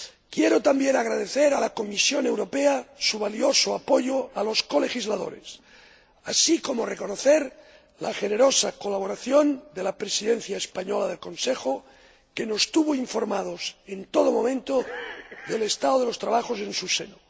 Quiero también agradecer a la Comisión Europea su valioso apoyo a los colegisladores, así como reconocer la generosa colaboración de la Presidencia española del Consejo, que nos tuvo informados en todo momento del estado de los trabajo en su seno.